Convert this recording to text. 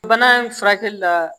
Bana in furakɛli la